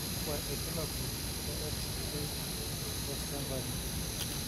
kakua irbulabol le XK aprosencephaly?